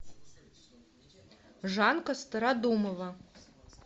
жанка стародумова